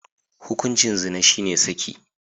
Hukuncin zina shine saki.